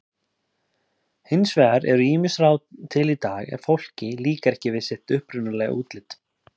Hins vegar eru ýmis ráð til í dag ef fólki líkar ekki sitt upprunalega útlit.